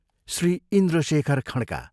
Shri Indrashekhar Khadka,